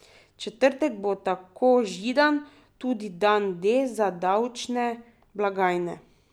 Četrtek bo, tako Židan, tudi dan D za davčne blagajne.